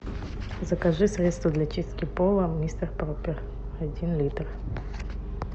закажи средство для чистки пола мистер пропер один литр